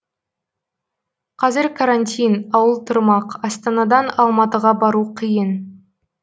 қазір карантин ауыл тұрмақ астанадан алматыға бару қиын